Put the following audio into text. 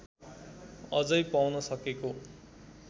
अझै पाउन सकेको